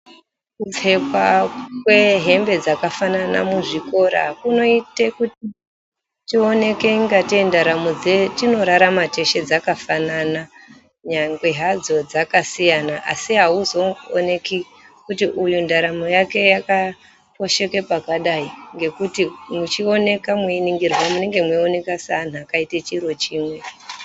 Kupfekwa kwehembe dzakafanana muzvikora kunoita kuti tioneke ingatei ndaramo dzatinorarama teshe dzakafanana nyangwe hadzo dzakasiyana, asi hauzooneki kuti ndaramo yake yakaposheka pakadai ngekuti muchioneka mweiningirwa munenge mwechioneka seantu akaita chiro chimwe